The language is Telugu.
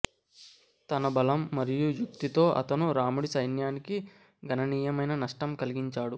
తన బలం మరియు యుక్తితో అతను రాముడి సైన్యానికి గణనీయమైన నష్టం కలిగించాడు